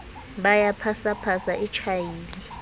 ba ya phasaphasa e tjhaile